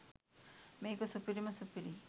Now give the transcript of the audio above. මේක සුපිරිම සුපිරි